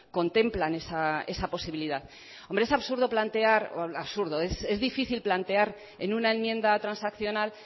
contemplan esa posibilidad hombre es difícil plantear en una enmienda transaccional